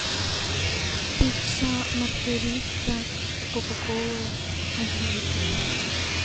пицца маргарита кока колы один литр